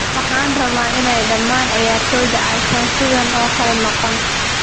""" Waxaan rabaa in dhamaan ciyaartoyda aysan sidan oo kale noqon."